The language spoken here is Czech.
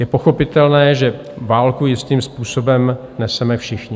Je pochopitelné, že válku jistým způsobem neseme všichni.